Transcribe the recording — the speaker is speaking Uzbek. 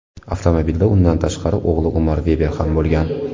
Avtomobilda undan tashqari o‘g‘li Umar Veber ham bo‘lgan.